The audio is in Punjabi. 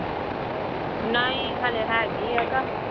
ਨਹੀਂ ਹਾਲੇ ਹੈਗੀ ਹੈ ਕਿ